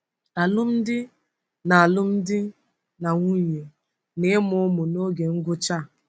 Alụmdi na Alụmdi na Nwunye na Ịmụ Ụmụ n’Oge Ngwụcha a.